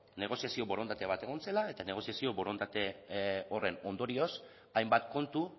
negoziazio borondatea bat egon zela eta negoziazio borondate horren ondorioz hainbat kontu